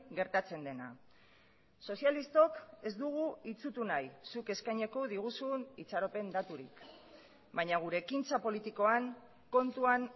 gertatzen dena sozialistok ez dugu itsutu nahi zuk eskainiko diguzun itxaropen daturik baina gure ekintza politikoan kontuan